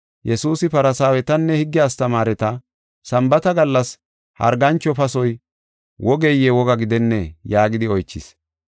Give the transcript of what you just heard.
Yesuusi Farsaawetanne higge astamaareta, “Sambaata gallas hargancho pasoy wogeye woga gidennee?” yaagidi oychis.